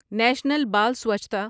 national بال سوچھتا